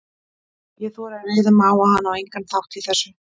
Ég þori að reiða mig á, að hann á engan þátt í þessu.